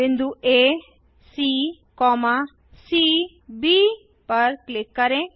बिंदु आ सी सी ब पर क्लिक करें